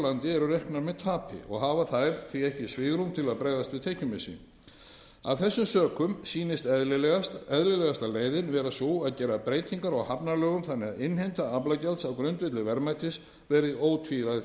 landi eru reknar með tapi og hafa þær því ekki svigrúm til að bregðast við tekjumissi af þessum sökum sýnist eðlilegasta leiðin vera sú að gera breytingar á hafnalögum þannig að innheimta aflagjalds á grundvelli verðmætis verði